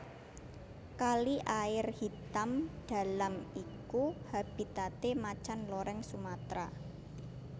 Kali Air Hitam Dalam iku habitate Macan Loreng Sumatra